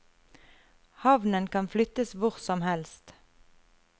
Havnen kan flyttes hvor som helst.